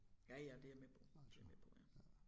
Ja ja det jeg med på det jeg med på ja